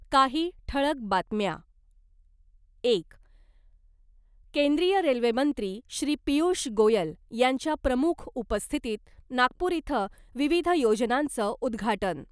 काही ठळक बातम्या एक केंद्रीय रेल्वे मंत्री श्री पियुष गोयल यांच्या प्रमुख उपस्थितीत नागपूर इथं विविध योजनांचं उद्घाटन .